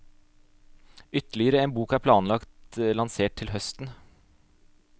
Ytterligere en bok er planlagt lansert til høsten.